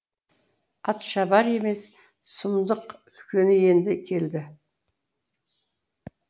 атшабар емес сұмдық үлкені енді келді